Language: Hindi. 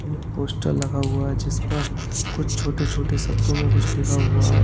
पोस्टर लगा हुआ है जिस पर कुछ छोटे छोटे शब्दों में कुछ लिखा हुआ है।